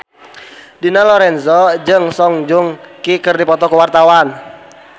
Dina Lorenza jeung Song Joong Ki keur dipoto ku wartawan